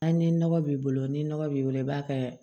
A ni nɔgɔ b'i bolo ni nɔgɔ b'i bolo i b'a kɛ